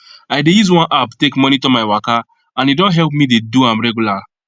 i dey use one app take monitor my waka and e don help me dey do am regular